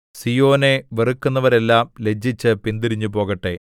സീയോനെ വെറുക്കുന്നവരെല്ലാം ലജ്ജിച്ച് പിന്തിരിഞ്ഞു പോകട്ടെ